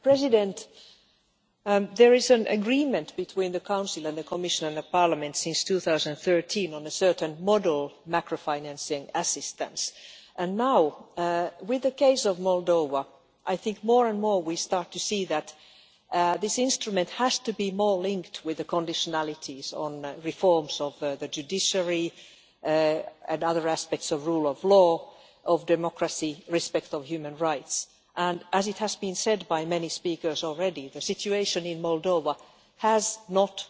Mr President, there has been an agreement between the Council, the Commission and Parliament since 2013 on a certain model macrofinancial assistance and now, with the case of Moldova, I think that more and more we start to see that this instrument has to be more linked with the conditionalities on reforms of the judiciary and other aspects of rule of law, of democracy, respect for human rights and, as has been said by many speakers already, the situation in Moldova has not